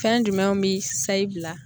Fɛn jumɛnw bi sayi bila